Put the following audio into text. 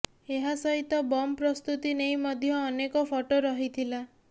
ଏହା ସହିତ ବମ୍ ପ୍ରସ୍ତୁତି ନେଇ ମଧ୍ୟ ଅନେକ ଫଟୋ ରହିଥିଲା